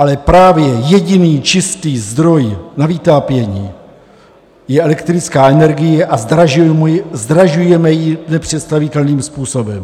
Ale právě jediný čistý zdroj na vytápění je elektrická energie a zdražujeme ji nepředstavitelným způsobem.